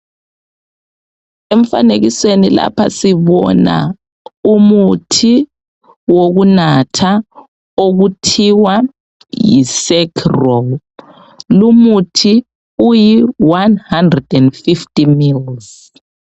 Emfanekisweni lapha sibona umuthi wokunatha okuthiwa yisekrol. Lumuthi uyione hundred and fifty mils.